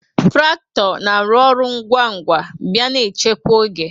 Trakto na-arụ ọrụ ngwa bịa na echekwa oge